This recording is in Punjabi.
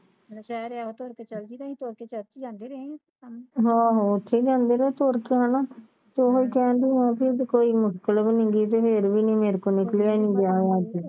ਆਹੋ ਉੱਥੇ ਜਾਂਦੇ ਰਹੇ ਆ ਤੁਰ ਕੇ ਹਣਾ ਤੇ ਉਹ ਕਹਿੰਦੇ ਰਹਿਣਾ ਕੋਈ ਮਤਲਬ ਨਹੀਂ ਰਹਿੰਦਾ ਅੜੀਏ ਤੇ ਮੇਰੇ ਕੋਲ ਕਿਹੜਾ ਆਇਆ ਸੀ